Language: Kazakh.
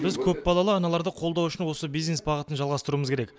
біз көпбалалы аналарды қолдау үшін осы бизнес бағытын жалғастыруымыз керек